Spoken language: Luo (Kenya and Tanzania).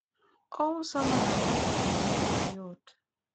ouso mananas e nengo mayot